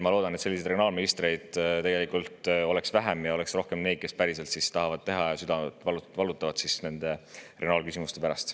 Ma loodan, et selliseid regionaalministreid on vähem ja on rohkem neid, kes päriselt tahavad seda teha ja valutavad südant regionaalküsimuste pärast.